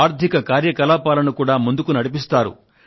ఆర్థిక కార్యకలాపాలను కూడా ముందుకు నడిపిస్తారు